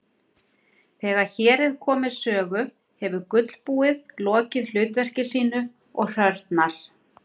Þegar hér er komið sögu hefur gulbúið lokið hlutverki sínu og hrörnar.